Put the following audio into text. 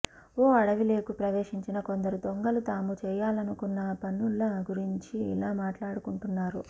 ఓ అడవిలోకి ప్రవేశించిన కొందరు దొంగలు తాము చేయాలనుకున్న పనుల గురించి ఇలా మాట్లాడుకుంటున్నారు